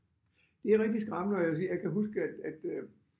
Det er rigtig skræmmende og jeg vil sige jeg kan huske at at øh